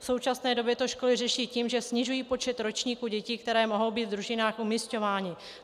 V současné době to školy řeší tím, že snižují počet ročníků dětí, které mohou být v družinách umisťovány.